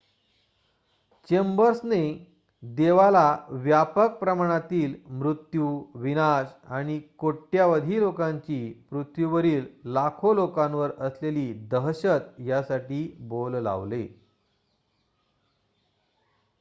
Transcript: "चेंबर्सने देवाला "व्यापक प्रमाणातील मृत्यू विनाश आणि कोट्यावधी लोकांची पृथ्वीवरील लाखो लोकांवर असलेली दहशत" यासाठी बोल लावले.